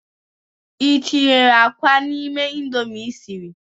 i tinyere akwa n'ime Indomie i siri s?